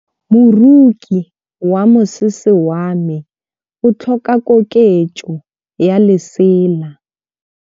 Moroki wa mosese wa me o tlhoka koketsô ya lesela.